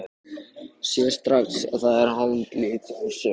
Sér strax að það er haldlítil afsökun.